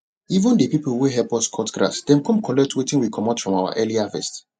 even de people wey help us cut grass dem come collect wetin we comot from our early harvest